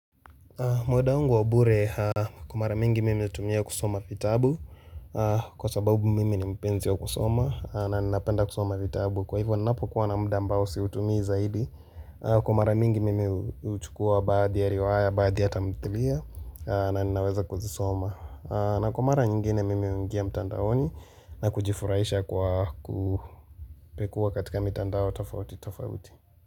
Muda wangu wa bure kwa mara mingi mimi hutumia kusoma vitabu kwa sababu mimi ni mpenzi ya kusoma na ninaapenda kusoma vitabu kwa hivyo ninapo kuwa na muda mbao siutumii zaidi kwa mara mingi mimi uchukua baadhi ya riwaya baadhi ya tamthlia na ninaweza kuzisoma na kwa mara nyingine mimi ungia mtandaoni na kujifurahisha kwa kupekuwa katika mitandao tafauti tafauti.